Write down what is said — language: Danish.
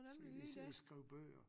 Så kan de sidde og skrive bøger